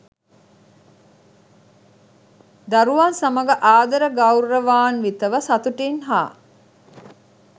දරුවන් සමඟ ආදර ගෞරවාන්විතව සතුටින් හා